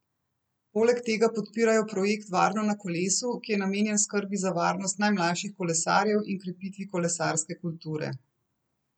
Poleg tega podpirajo projekt Varno na kolesu, ki je namenjen skrbi za varnost najmlajših kolesarjev in krepitvi kolesarske kulture.